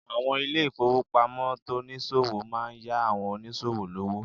Àwọn ilé ìfowópamọ́ tonìsòwò máa n yá àwon onísòwò lówó